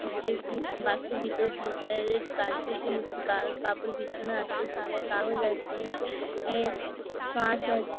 নিচে উ বাস এর ভিতর ব্লু কালার এর কার্পেট এর মতো কা কাপড় বিছানো আছে। সাদা কাগজ আছে এ কাঁচ আছে ।